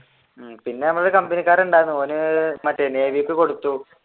പിന്നെ ഞമ്മള് കമ്പനിക്കാരൻ ഉണ്ടായിരുന്നു ഓൻ മറ്റേ നേവി കൊടുത്തു.